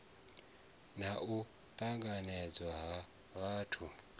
na u ṱahedzwa ha zwithu